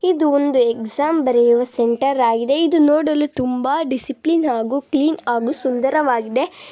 ಇದು ಒಂದು ಎಕ್ಸಾಮ್ ಬರೆಯುವ ಸೆಂಟರ್ ಆಗಿದೆ. ಇದು ನೋಡಲು ತುಂಬಾ ಡಿಸಿಪ್ಲಿನ್ ಹಾಗು ಕ್ಲೀನ್ ಆಗೂ ಸುಂದರವಾಗಿದೆ.